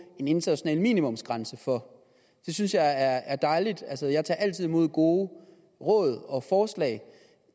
en international minimumsgrænse for det synes jeg er dejligt jeg tager altid imod gode råd og forslag